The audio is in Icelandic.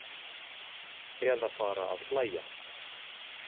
Eða fara að hlæja.